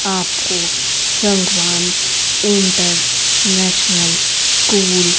आपको Sangwan international school --